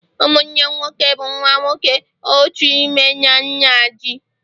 ụmụnne nwoke bụ nwa nwoke otu nne na nna ji